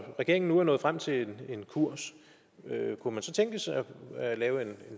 regeringen nu er nået frem til en kurs kunne man så tænke sig at lave en